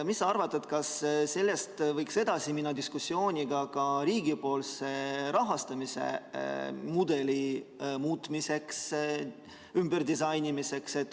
Mis sa arvad, kas sellest võiks edasi minna diskussiooniga ka riigipoolse rahastamise mudeli muutmiseks, ümberdisainimiseks?